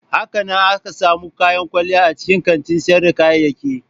Hakanan ana samun kayan kwalliya a cikin kantin sayar da kayayyaki.